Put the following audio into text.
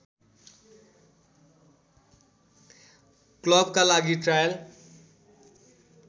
क्लबका लागि ट्रायल